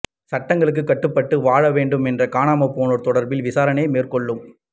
சட்டங்களுக்கு கட்டுப்பட்டு வாழ வேண்டும் என்று காணாமற்போனோர் தொடர்பில் விசாரணை மேற்கொள்ளும்